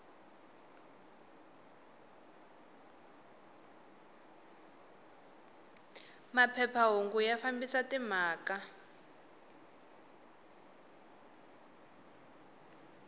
maphepha hungu ya fambisa timhaka